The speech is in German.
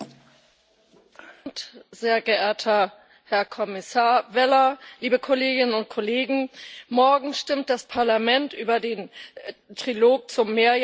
Herr Präsident, Herr Kommissar Vella, liebe Kolleginnen und Kollegen! Morgen stimmt das Parlament über den Trilog zum Mehrjahresplan für die Nordsee ab.